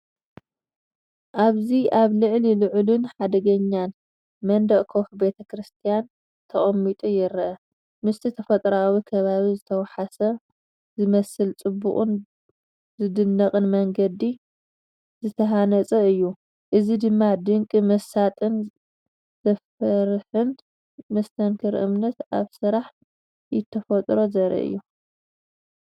ኣብዚ ኣብ ልዕሊ ልዑልን ሓደገኛን መንደቕ ከውሒ፡ ቤተክርስትያን ተቐሚጡ ይርአ። ምስቲ ተፈጥሮኣዊ ከባቢ ዝተሓዋወሰ ዝመስል ጽቡቕን ዝድነቕን መንገዲ ዝተሃንጸ እዩ። እዚ ደማ ድንቂ፡ መሳጥን ዘፍርሕን መስተንክር እምነት ኣብ ስራሕ ኢድ ተፈጥሮ ዘርኢ እዩ።